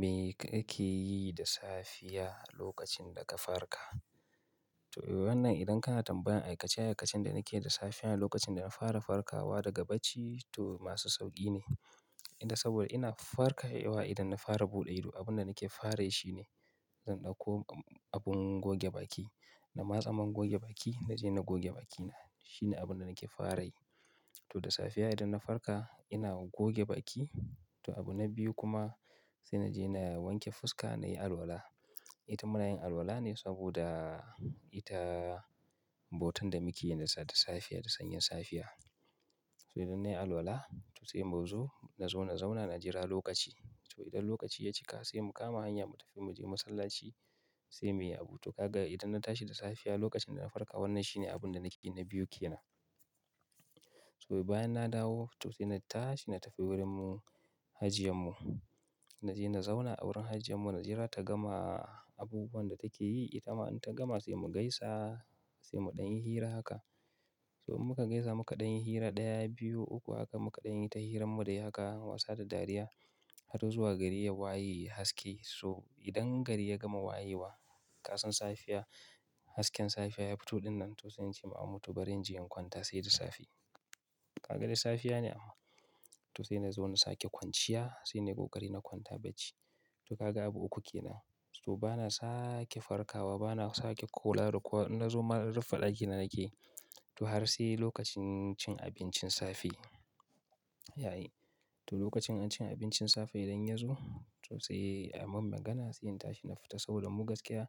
Me kake yi da safiya lokacin da ka farka? To, wannan idan kana tambayan aikace aikacen da nake da safiyar lokacin da na fara farkawa daga bacci to masu sauƙi ne. Tinda saboda ina farkewa idan na fara bude ido abinda nake farayi shine zan dauko abin goge baki in matsa man goge baki naje na goge bakina. Shi ne abun da nake farai. To da safiya idan na farka ina goge baki. To abu na biyu kuma sai naje na wanke fuska nayi alwala. Ita munayin alwala ne saboda ita bautan da muke yi da safe da sanyen safiya. To idan nayi alwala to sai mu zo, na zo na zauna na jira lokaci. To idan lokaci ya cika sai mu kama hanya mu tafi mu je masallaci sai muyi abu. To ka ga idan na tashi da safiya lokacin da na farka wannan shine abun da nake na biyu ke nan. To bayan na dawo to sai na tashi na tafi wurinmu hajjiyanmu. Na je na zauna a wurin hajjiyanmu na jira ta gama abubuwan da take yi. Ita ma in ta gama sai mu gaisa sai mu ɗanyi hira haka. To inmuka gaisa muka ɗanyi hira ɗaya, biyu, uku haka muka ɗanyi ta hiranmu da ya haka, wasa da dariya har zuwa gari ya waye haske. So idan gari ya gama wayewa kasan safiya. Hasken safiya ya fito dinnan to sai ince ma amu bari naje na kwanta sai da safe. Ka ga dai safiya ne amma. To sai na zo na sake kwanciya sai ne ko gari na kwanta bacci. To ka ga abu uku ke nan. To bana sake farkawa bana sake kula da kowa inna zo ma rufe ɗakin da nake. To har sai lokacin cin abincin safe ya yi. Toh lokachin cin abincin safe idan yazo to sai ayi mani magana sai intashi na fita saboda mu gaskiya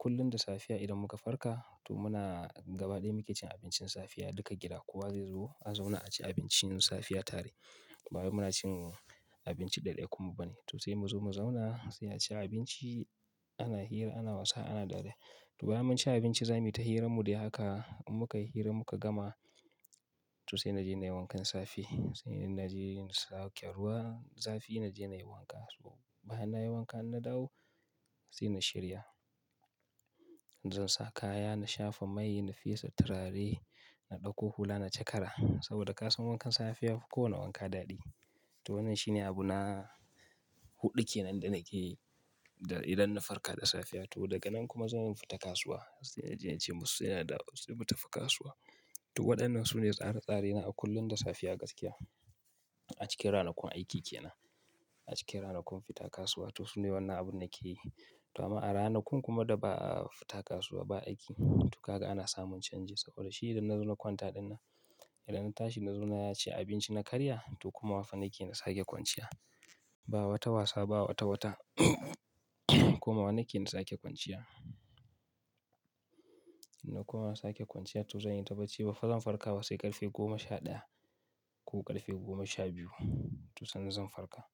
kullum da safiya idan muka farka to muna gaba daya muke cin abincin safiya. Duka gida kowa zai zo a zauna a ci abinci safiya tare. Ba wai muna cin abinci ɗaya ɗaya kummu ba ne. To sai mu zo mu zauna sai a ci abinci ana hira, ana wasa, ana dariya. To bayan mun ci abinci za mu yi ta hiranmu dai haka. In muka yi hira muka gama to sai na je na yi wankan safe. Sai na je na sake ruwa zafi na je na yi wanka. So bayan nayi wanka na dawo sai na shirya. Zan sa kaya na shafa mai na fesa turare na ɗauko hula na cakara saboda ka san wankan safe ya fi kowane wanka daɗi. To wannan shine abu na huɗu ke nan da nake yi idan na farka da safiya. To daga nan kuma zan fita kasuwa. Sai naje nace masu sai na dawo sai mutafi kasuwa to waɗannan su ne tsaretsare na a kullum da safiya gaskiya. A cikin ranakun aiki ke nan. A cikin ranakun fita kasuwa. To su ne wannan abun nake yi. To amma a ranakun kuma da ba a fita kasuwa ba aiki to ka ga ana samun canji saboda shi idan na zo na kwanta ɗinnan, idan na tashi na zo na yi ci abinci na karya to kuma mafan nake na sake kwanciya. Ba wata wasa ba wata wata komawa nake na sake kwanciya. Na kuma sake kwanciya to zan yi ta bacci. Baffa zan farkawa sai ƙarfe goma sha ɗaya ko ƙarfe goma sha biyu to sannan zan farka.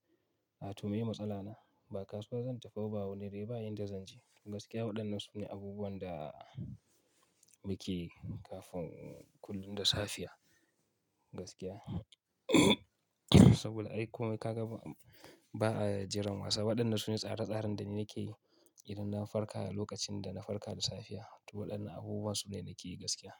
Wato miye matsala na ba kasuwa zan tafi ba wani raye ba inda zan je. Gaskiya waɗannan su ne abubuwan da muke kafin kullum da safiya gaskiya. Saboda ai komai ba, ajiran wa waɗannan su ne tsaratsarin da nake yi idan na farka lokacin da na farka da safiya. To waɗannan abubuwan su ne nake yi gaskiya.